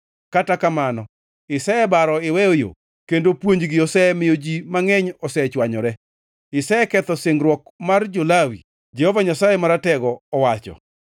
Kata kamano isebaro iweyo yo kendo puonjgi osemiyo ji mangʼeny ochwanyore; iseketho singruok mar jo-Lawi,” Jehova Nyasaye Maratego owacho.